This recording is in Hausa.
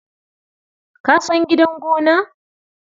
Ka san gidan gona?